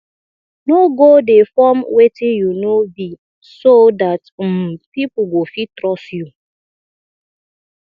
no go dey form wetin you no be so dat um pipo go fit trust you